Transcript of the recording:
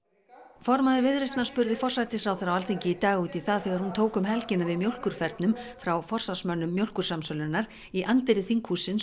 formaður Viðreisnar spurði forsætisráðherra á Alþingi í dag út í það þegar hún tók um helgina við mjólkurfernum frá forsvarsmönnum Mjólkursamsölunnar í anddyri þinghússins og